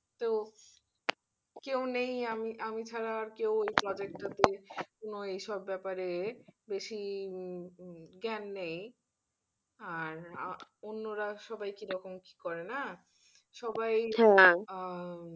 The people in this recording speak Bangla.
কেউ নেই আমি আমি ছাড়া আর কেউ এই project টাতে কোন এসব ব্যাপারে বেশি জ্ঞান নেই। আর অন্যরা সবাই কি রকম কি করে না সবাই,